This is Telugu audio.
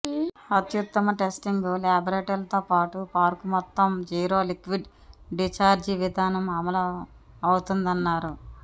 అత్యుత్తమ టెస్టింగ్ ల్యాబోరేటరీలతోపాటు పార్కు మెత్తం జీరో లిక్విడ్ డిచార్జీ విధానం అమలు అవుతుందన్నారు